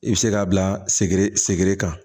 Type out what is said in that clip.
I bɛ se k'a bila sɛgɛrɛ segere kan